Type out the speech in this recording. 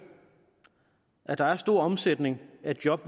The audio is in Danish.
at der er stor omsætning af job